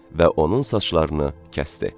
və onun saçlarını kəsdi.